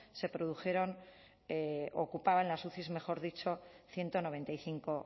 ocupaban las uci ciento noventa y cinco